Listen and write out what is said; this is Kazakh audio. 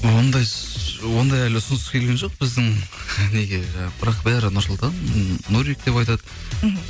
ондай ондай әлі ұсыныс келген жоқ біздің неге жаңағы бірақ бәрі нұрсұлтан нурик деп айтады мхм